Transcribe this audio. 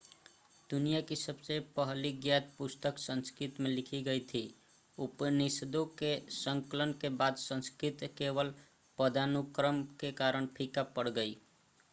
दुनिया की सबसे पहली ज्ञात पुस्तक संस्कृत में लिखी गई थी उपनिषदों के संकलन के बाद संस्कृत केवल पदानुक्रम के कारण फीका पड़ गयी